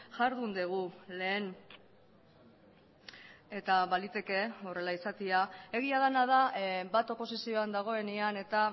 jardun dugu lehen eta baliteke horrela izatea egia dena da bat oposizioan dagoenean eta